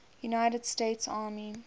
united states army